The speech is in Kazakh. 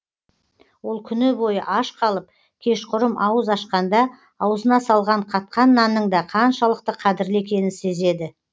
ол күні бойы аш қалып кешқұрым ауыз ашқанда аузына салған қатқан нанның да қаншалықты қадірлі екенін сезеді